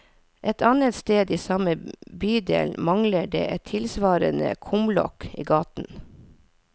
Et annet sted i samme bydel mangler det et tilsvarende kumlokk i gaten.